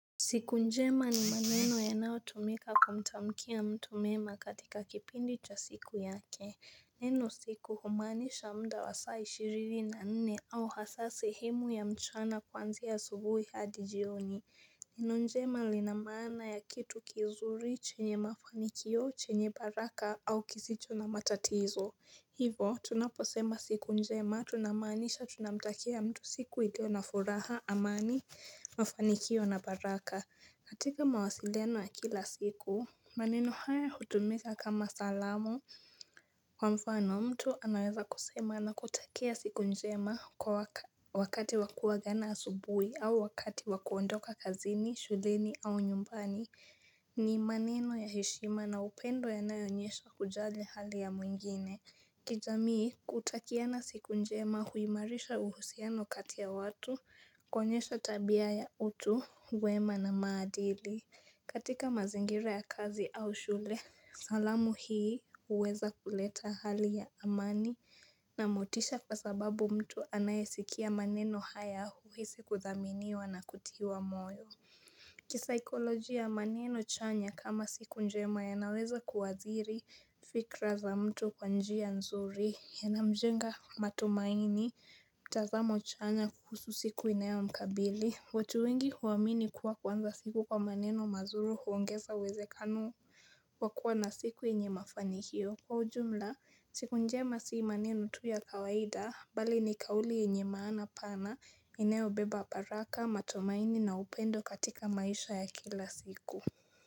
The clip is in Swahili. Siku njema ni maneno yanayo tumika kumtamukia mtu mema katika kipindi cha siku yake. Neno siku humaanisha muda wa saa ishirini na nne au hasaa sehemu ya mchana kwanzia ya asubuhi hadi jioni. Neno njema lina maana ya kitu kizuri chenye mafanikio chenye baraka au kisicho na matatizo. Hivyo, tunaposema siku njema, tunamaanisha tunamtakia mtu siku iliyo na furaha, amani, mafanikio na baraka. Katika mawasiliano ya kila siku, maneno haya hutumika kama salamu kwa mfano mtu anaweza kusema anakutakia siku njema wakati wa kuagana asubuhi au wakati wa kuondoka kazini, shughulini au nyumbani. Ni maneno ya heshima na upendo yanayo onyesha kujali hali ya mwingine. Kijamii kutakiana na siku njema huimarisha uhusiano kati ya watu, kuonyesha tabia ya utu, wema na maadili. Katika mazingira ya kazi au shule, salamu hii huweza kuleta hali ya amani na motisha kwa sababu mtu anayesikia maneno haya huhisi kudhaminiwa na kutiwa moyo. Kisaikolojia maneno chanya kama siku njema yanaweza kuathiri fikra za mtu kwa njia nzuri yanamjenga matumaini mtazamo chanya kuhusu siku inayo mkabili. Watu wengi huwamini kuwa kuanza siku kwa maneno mazuri huongeza uwezekano wakua na siku yenye mafanikio. Kwa ujumla, siku njema sio maneno tu ya kawaida, bali ni kauli yenye maana pana, inayo beba baraka, matumaini na upendo katika maisha ya kila siku.